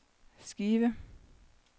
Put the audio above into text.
skive